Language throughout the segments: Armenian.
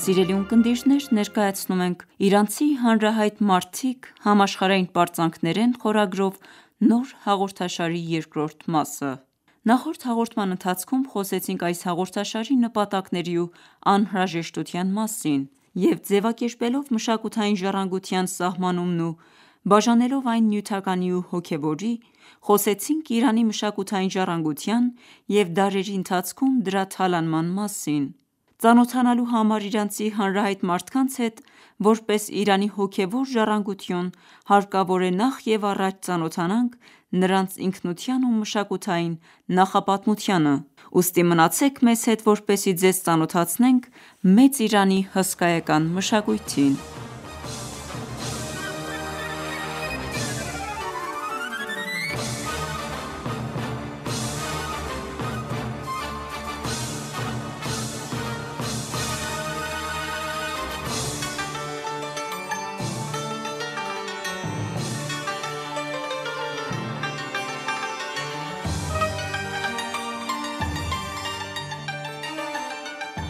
Սիրելի ունկնդիրներ ներկայանում ենք «Իրանցի հանրահայտ մարդիկ՝ համաշխարհային պարծանքներ» խորագրով նոր հաղորդաշարի երկրորդ մասով։ Նախորդ հաղորդման ընթացքում խոսեցինք այս հաղորդաշարի նպատակների ու անհրաժեշտության մասին և ձևակերպելով մշակութային ժառանգության սահմանումն ու բաժանելով այն նյութականի ու հոգևորի, խոսեցինք Իրանի մշակութային ժառանգության և դարերի ընթացքում դրա թալանման մասին։ Ծանոթանալու համար իրանցի հանրահայտ մարդկանց հետ որպես Իրանի հոգևոր ժառանգություն, հարկավոր է, նախ և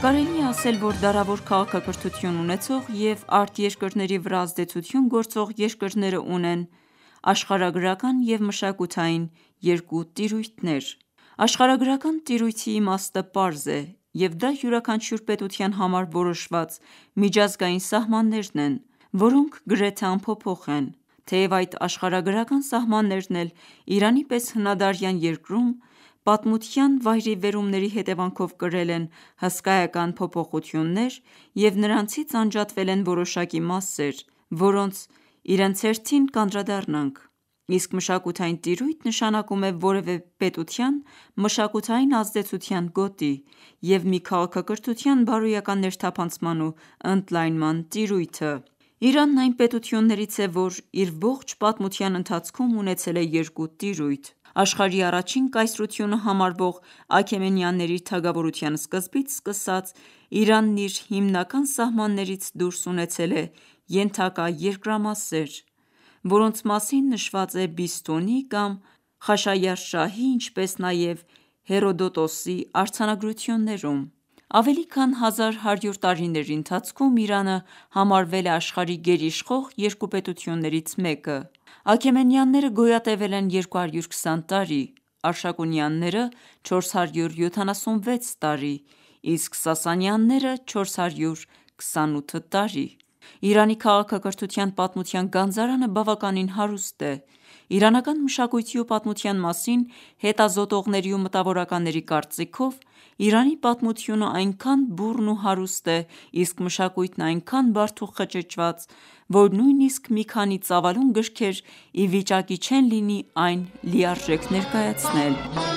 Կարելի է ասել, որ դարավոր քաղաքակրթություն ունեցող և արտերկրների վրա ազդեցություն գործող երկրները ունեն երկու տիրույթներ. Աշխարհագրական և մշակութային տիրույթ։ Աշխարհագրական տիրույթի իմաստը պարզ է և դա յուրաքանչյուր պետության համար որոշված միջազգային սահմաններն են, որոնք գրեթե անփոփոխ են։ Թեև այդ աշխարհագրական սահմաններն էլ Իրանի պես հնադարյան երկրում պատմության վայրիվերումների հետևանքով կրել են հսկայական փոփոխություններ և նրանից անջատվել են որոշակի մասեր, որոնց իրենց հերթին կանդրադառնանք։ Իսկ մշակութային տիրույթ նշանակում է որևէ պետության մշակութային ազդեցության գոտի և մի քաղաքակրթության բարոյական ներթափանցման ու ընդլայնման տիրույթը։ Իրանը այն պետություններից է, որ իր ողջ պատմության ընթացքում ունեցել է երկու տիրույթ. Աշխարհի առաջին կայսրությունը համարվող Աքեմենյանների թագավորության սկզբից սկսած Իրանը իր հիմնական սահմաններից դուրս ունեցել է ենթակա երկրամասեր, որոնց մասին նշված է Բիսթունի կամ Խաշայարշահի, ինչպես նաև Հորոդոտոսի արձանագրություններում։ Ավելի քանի 1100 տարիների ընթացքում Իրանը համարվել է աշխարհի գերիշխող երկու պետություններից մեկը։ Աքեմենյանները գոյատևել են 220 տարի, Արշակունյանները՝ 476 տարի, իսկ Սասանյանները՝ 428 տարի։ Իրանի քաղաքակրթության պատմության գանձարանը բավականին հարուստ է։ Իրանական մշակույթի ու պատմության մասին հետազոտողների ու մտավորականների կարծիքով, Իրանի պատմությունը այնքան բուռն ու հարուստ է, իսկ մշակույթն այնքան բարդ ու խճճված, որ նույնիսկ մի քանի ծավալուն գրքեր ի վիճակի չեն լինի այն լիարժեք ներկայացնել։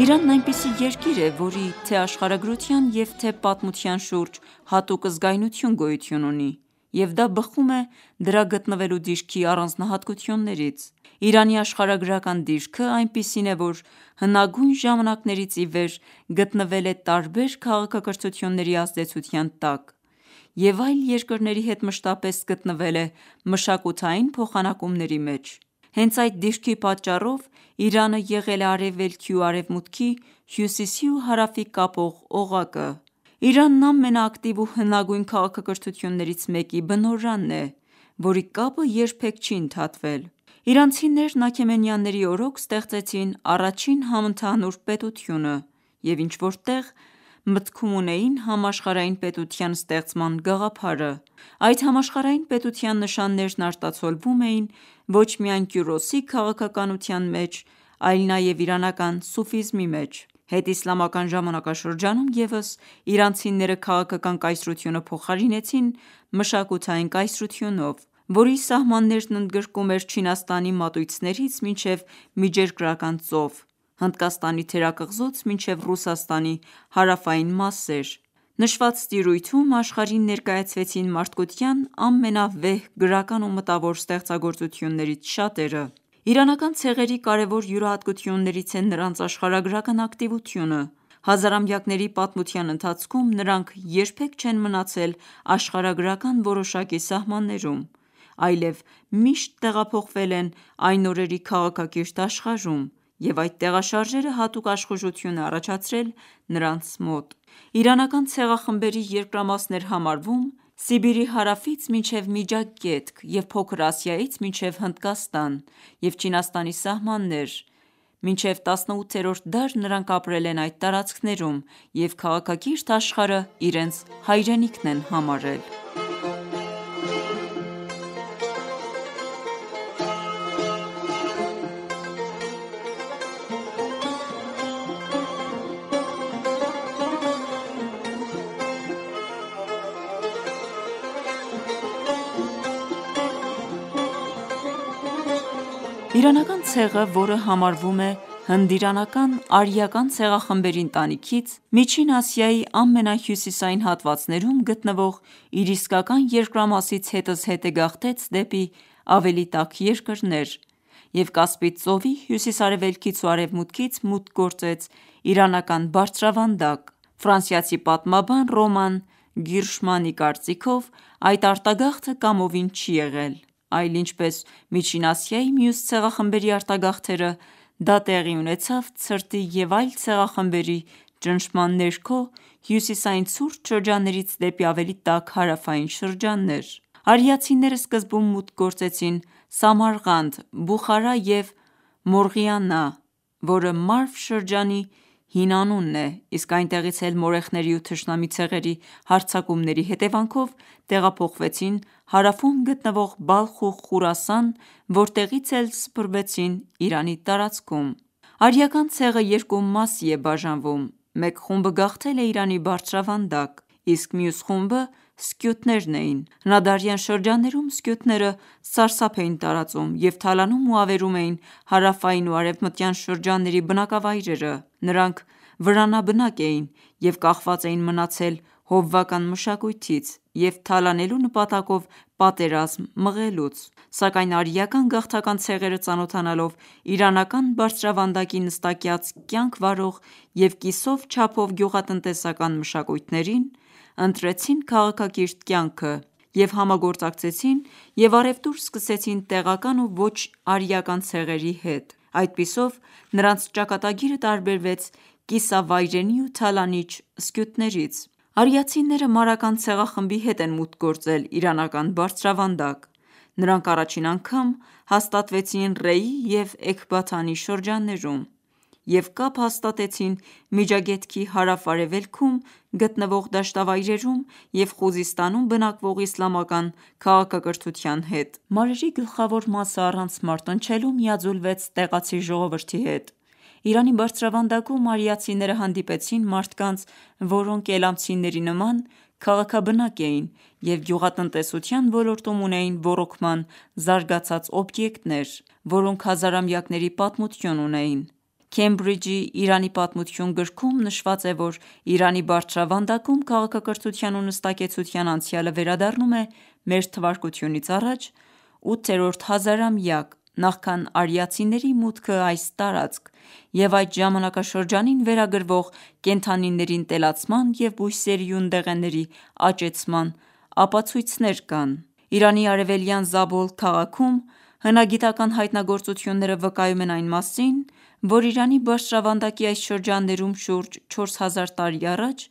Իրանն այնպիսի երկիր է, որի թե աշխարհագրության և թե պատմության շուրջ հատուկ զգայնություն գոյություն ունի և դա բխում է դրա գտնվելու դիրքի առանձնահատկություններից։ Իրանի աշխարհագրական դիրքը այնպիսին է, որ հնագույն ժամանակներից ի վեր գտնվել է տարբեր քաղաքակրթությունների ազդեցության տակ և այլ երկրների հետ մշտապես գտնվել է մշակութային փոխանակումների մեջ։ Հենց այդ դիրքի պատճառով, Իրանն եղել արևելքի ու արևմուտքի, հյուսիսի ու հարավի կապող օղակը։ Իրանն ամենակտիվ ու հնագույն քաղաքակրթություններից մեկի բնօրանն է, որի կապը երբեք չի ընդհատվել։ Իրանցիներն աքեմենյանների օրոք ստեղծեցին առաջին համընդհանուր պետությունը և ինչ-որ տեղ մտքում ունեին համաշխարհային պետության ստեղծման գաղափարը։ Այդ համաշխարհային պետության նշաններն արտացոլվում էին ոչ միայն Կյուրոսի քաղաքականության մեջ, այլ նաև իրանական սուֆիզմի մեջ։ Հետիսլամական ժամանակաշրջանում ևս իրանցիները քաղաքական կայսրությունը փոխարինեցին մշակութային կայսրությունով, որի սահմաններն ընդգրկում էր Չինաստանի մատույցներից մինչև Միջերգրական ծով, Հնդկաստանի թերակղզուց մինչև Ռուսաստանի հարավային մասեր։ Նշված տիրույթում աշխարհին ներկայացվեցին մարդկության ամենավեհ գրական ու մտավոր ստեղծագործություններից շատերը։ Իրանական ցեղերի կարևոր յուրահատկություններից է նրանց աշխարհագրական ակտիվությունը: Հազարամյակների պատմության ընթացքում նրանք երբեք չեն մնացել աշխարհագրական որոշակի սահմաններում, այլև միշտ տեղափոխվել են այն օրերի քաղաքակիրթ աշխարհում և այդ տեղաշարժերը հատուկ աշխուժություն է առաջացրել նրանց մոտ: Իրանական ցեղախմբերի երկրամասն էր համարվում Սիբիրի հարավից մինչև Միջագետք և Փոքր Ասիայից մինչև Հնդկաստան և Չինաստանի սահմաններ և մինչև 18-րդ դար նրանք ապրել են այդ տարածքներում և քաղաքակիրթ աշխարհը իրենց հայրենիքն են համարել: Իրանական ցեղը, որը համարվում է հնդիրանական՝ արիական ցեղախմբերի ընտանիքից, Միջին Ասիայի ամենահյուսիսային հատվածներում գտնվող իր իսկական երկրամասից հետզհետե գաղթեց դեպի ավելի տաք երկրներ և Կասպից ծովի հյուսիս-արևելքից ու արևմուտքից մուտք գործեց իրանական բարձրավանդակ։ Ֆրանսիացի պատմաբան Ռոման Գիրշմանի կարծիքով, այդ արտագաղթը կամովին չի եղել, այլ ինչպես Միջին Ասիայի մյուս ցեղախմբերի արտագաղթերը, դա տեղի ունեցավ ցրտի և այլ ցեղախմբերի ճնշման ներքո հյուսիսային ցուրտ շրջաններից դեպի ավելի տաք հարավային շրջաններ։ Արիացիները սկզբում մուտք գործեցին Սամարղանդ, Բուխարա և Մորղիանա, որը Մարվ շրջանի հին անունն է, իսկ այնտեղից էլ, մորեխների ու թշնամի ցեղերի հարձակումների հետևանքով, տեղափոխվեցին ավելի հարավում գտնվող Բալխ ու Խուրասան, որտեղից էլ սփրվեցին Իրանի տարածքում։ Արիական ցեղը երկու մասի է բաժանվում: Մեկ խումբը գաղթել է Իրանի բարձրավանդակ, իսկ մյուս խումբը սկյութներն էին: Հնադարյան շրջաններում սկյութները սարսափ էին տարածում և թալանում ու ավերում էին հարավային ու արևմտյան շրջանների բնակավայրերը: Նրանք վրանաբնակ էին և կախված էին մնացել հովվական մշակույթից և թալանելու նպատակով պատերազմ մղելուց: Սակայն արիական գաղթական ցեղերը ծանոթանալով իրանական բարձրավանդակի նստակյաց կյանք վարող և կիսով չափով գյուղատնտեսական մշակույթների հետ, ընտրեցին քաղաքակիրթ կյանքը և համագործակցեցին և առևտուր սկսեցին տեղական և ոչ-արիական ցեղերի հետ: Այդպիսով նրանց ճակատագիրը տարբերվեց կիսավայրենի ու թալանիչ սկյութներից: Արիացիները Մարական ցեղախմբի հետ են մուտք գործել իրանական բարձրավանդակ: Նրանք առաջին անգամ հաստատվել են Ռեյի և Էքբաթանի շրջաններում և կապ հաստատեցին Միջագետքի հարավ-արևելքում գտնվող դաշտավայրերում և Խուզիստանում բնակվող իլամական քաղաքակրթության հետ: Մադերի գլխավոր մասն առանց մարտնչելու միաձուլվեց տեղացի ժողովրդի հետ: Իրանի բարձրավանդակում արիացիները հանդիպեցին մարդկանց, որոնք իլամյանների նման, քաղաքաբնակ էին և գյուղատնտեսության ոլորտում ունեին ոռոգման զարգացած օբյեկտներ, որոնք հազարամյակների պատմություն ունեին: «Քեմբրիջի Իրանի պատմություն» գրքում նշված է, որ Իրանի բարձրավանդակում քաղաքակրթության ու նստակեցության անցյալը վերադառնում է Մթա. 8-րդ հազարամյակ, նախքան արիացիների մուտքն այս տարածք և այդ ժամանակաշրջանին վերագրվող կենդանիների ընտելացման և բույսերի ու ընդեղենների աճեցման ապացույցներ կան: Իրանի արևելքում գտնվող Զաբոլ քաղաքում հնագիտական հայտնագործությունները վկայում են այն մասին, որ Իրանի բարձրավանդակի այս շրջանում շուրջ 4000 տարի առաջ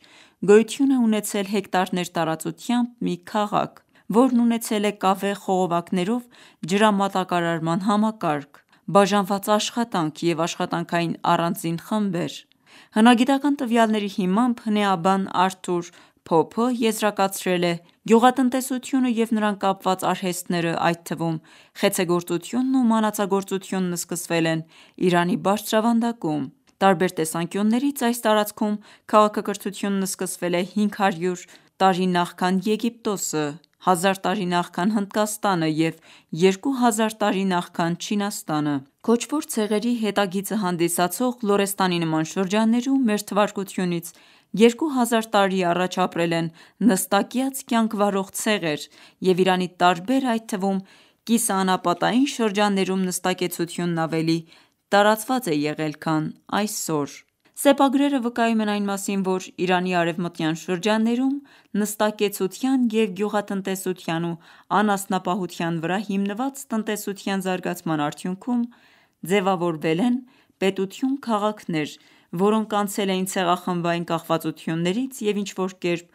գոյություն է ունեցել հեկտարներ տարածությամբ մի քաղաք, որն ունեցել է կավե խողովակներով ջրամատակարարման համակարգ, բաժանված աշխատանք և աշխատանքային առանձին խմբեր: Հնագիտական տվյալների հիմամբ, հնեաբան՝ Արթուր Փոփը եզրակացրել է.«Գյուղատնտեսությունը և նրան կապված արհեստներն, այդ թվում խեցեգործությունն ու մանածագործությունն սկսվել են Իրանի բարձրավանդակում: Տարբեր տեսանկյուններից այս տարածքում քաղաքակրթությունն սկսվել է 500 նախքան Եգիպտոսը, 1000 տարի նախքան Հնդկաստանը և 2000 տարի նախքան Չինաստանը: Քոչվոր ցեղերի հետագիծը հանդիսացող Լորեսթանի նման շրջաններում Մթա. 2000 տարի առաջ, ապրել են նստակյաց կյանք վարող ցեղեր և Իրանի տարբեր, այդ թվում կիսաանապատային շրջաններում նստակեցությունն ավելի տարածված է եղել քան այսօր»: Սեպագրերը վկայում են այն մասին, որ Իրանի արևմտյան շրջաններում, նստակեցության և գյուղատնտեսության ու անասնապահության վրա հիմնված տնտեսության զարգացման արդյունքում ձևավորվել են պետություն-քաղաքներ, որոնք անցել էին ցեղախմբային կախվածություններից և ինչ-որ կերպ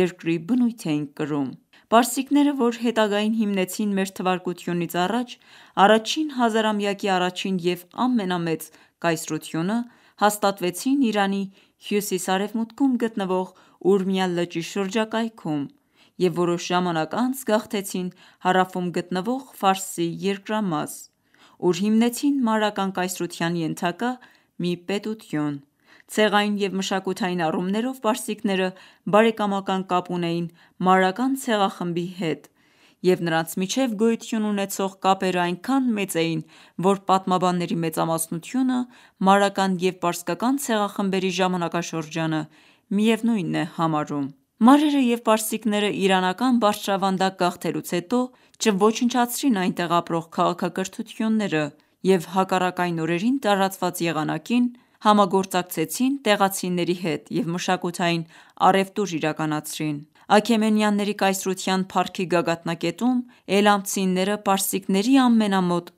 երկրի բնույթ էին կրում: Պարսիկները, որ հետագային հիմնեցին Մթա. առաջին հազարամյակի առաջին և ամենամեծ կայսրությունը հաստատվեցին Իրանի հյուսիս-արևմուտքում գտնվող Ուրմիա լճի շրջակայքում և որոշ ժամանակ անց գաղթեցին հարավում գտնվող Ֆարսի երկրամաս, ուր հիմնեցին մարրական կայսրության ենթակա մի պետություն: Ցեղային և մշակութային առումներով պարսիկները բարեկամական կապ ունեին մարական ցեղախմբի հետ և նրանց միջև գոյություն ունեցող կապերն այնքան մեծ էին, որ պատմաբանների մեծամասնությունը մարական և պարսկական ցեղախմբերի ժամանակաշրջանը միևնույնն են համարում: Մարերը և պարսիկներն իրանական բարձրավանդակ գաղթելուց հետո, չոչնչացրին այնտեղ ապրող քաղաքակրթությունները և հակառակ այն օրերին տարածված եղանակին, համագործակցեցին տեղացիների հետ և մշակութային առևտուր իրականացրին: Աքեմենյանների կայսրության փառքի գագաթնակետում, էլամցիները պարսիկների ամենամոտ